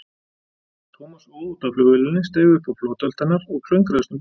Thomas óð út að flugvélinni, steig upp á flotholt hennar og klöngraðist um borð.